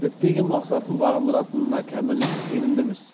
діттеген мақсатын бағындыратына кәміл сенімдіміз